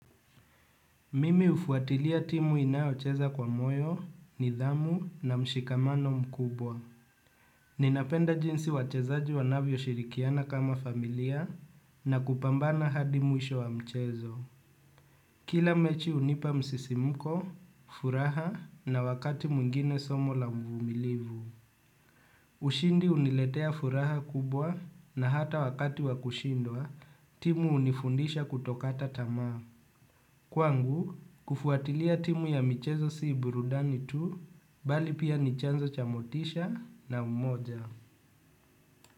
Mimi hufuatilia timu inayocheza kwa moyo, nidhamu na mshikamano mkubwa. Ninapenda jinsi wachezaji wanavyoshirikiana kama familia na kupambana hadi mwisho wa mchezo. Kila mechi hunipa msisimuko, furaha na wakati mwingine somo la mvumilivu. Ushindi huniletea furaha kubwa na hata wakati wa kushindwa timu hunifundisha kutokata tamaa. Kwangu, kufuatilia timu ya michezo si burudani tu, bali pia ni chanzo cha motisha na umoja.